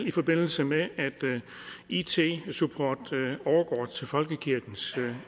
i forbindelse med at it supporten overgår til folkekirkens